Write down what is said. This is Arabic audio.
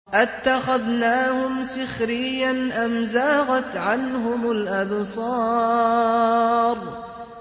أَتَّخَذْنَاهُمْ سِخْرِيًّا أَمْ زَاغَتْ عَنْهُمُ الْأَبْصَارُ